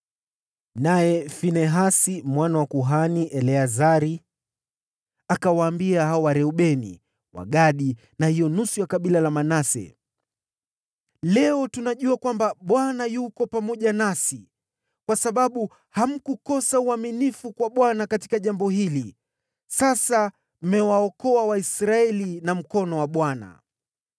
Naye Finehasi mwana wa kuhani Eleazari, akawaambia Wareubeni, Wagadi na Manase, “Leo tunajua kwamba Bwana yuko pamoja nasi, kwa sababu hamkukosa uaminifu kwa Bwana katika jambo hili. Sasa mmewaokoa Waisraeli na mkono wa Bwana .”